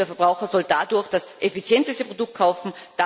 Der Verbraucher soll dadurch das effizienteste Produkt kaufen.